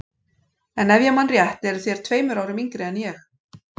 En ef ég man rétt eruð þér tveimur árum yngri en ég.